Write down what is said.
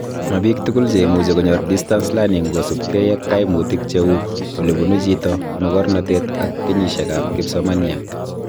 Mabiik tugul che imuchi konyor distance learning kosubkei ak kaimutik cheu olebun chito ,mogornotet ak kenyisiekab kipsomaniat